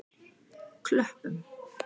Klöppum